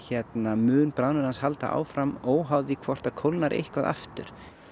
mun bráðnun hans halda áfram óháð því hvort það kólnar eitthvað aftur í